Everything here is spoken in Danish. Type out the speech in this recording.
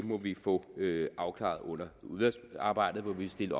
må vi få afklaret under udvalgsarbejdet hvor vi vil stille